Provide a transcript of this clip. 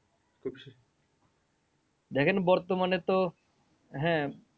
দেখেন বর্তমানে তো হ্যাঁ